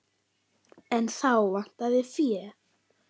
En þá vantaði fé.